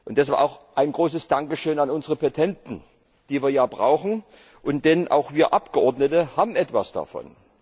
Deshalb auch ein großes Dankeschön an unsere Petenten, die wir ja brauchen, denn auch wir Abgeordnete haben etwas davon.